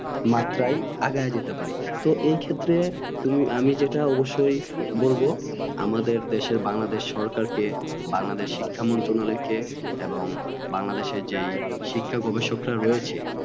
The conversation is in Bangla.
মাত্রাই আগাই যেতে পারি তো এক্ষেত্রে আমি যেটা অবশ্যই বলব আমাদের দেশের বাংলাদেশ সরকার কে বাংলাদেশের শিক্ষা মন্ত্রনালয় কে এবং বাংলাদেশের যে শিক্ষা গবেষকরা রয়েছ